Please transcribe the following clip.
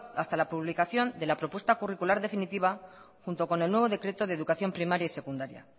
hasta la publicación de la propuesta curricular definitiva junto con el nuevo decreto de educación primaria y secundaria